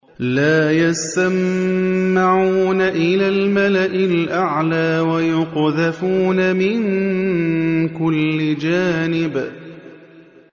لَّا يَسَّمَّعُونَ إِلَى الْمَلَإِ الْأَعْلَىٰ وَيُقْذَفُونَ مِن كُلِّ جَانِبٍ